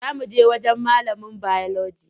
Za muje wurin malamin biology.